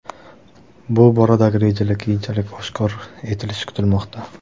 Bu boradagi rejalar keyinchalik oshkor etilishi kutilmoqda.